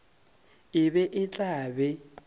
e be e tla be